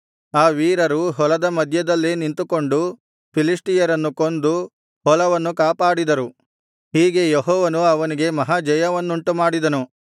ಆ ವೀರರು ಹೊಲದ ಮಧ್ಯದಲ್ಲೇ ನಿಂತುಕೊಂಡು ಫಿಲಿಷ್ಟಿಯರನ್ನು ಕೊಂದು ಹೊಲವನ್ನು ಕಾಪಾಡಿದರು ಹೀಗೆ ಯೆಹೋವನು ಅವನಿಗೆ ಮಹಾ ಜಯವನ್ನುಂಟುಮಾಡಿದನು